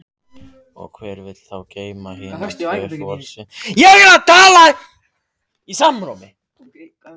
Og hver vill þá geyma hina tvo til vorsins?